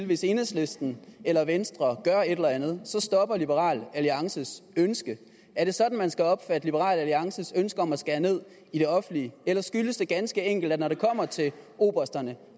hvis enhedslisten eller venstre gør et eller andet stopper liberal alliances ønske er det sådan man skal opfatte liberal alliances ønske om at skære ned i det offentlige eller skyldes det ganske enkelt at når det kommer til obersterne